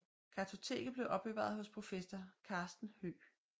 Kartoteket blev opbevaret hos professor Carsten Høeg